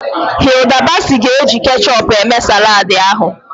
Hilda Baci ga-eji kechup eme saladị ahụ.